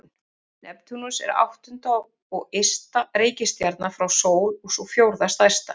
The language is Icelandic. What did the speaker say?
Neptúnus er áttunda og ysta reikistjarnan frá sól og sú fjórða stærsta.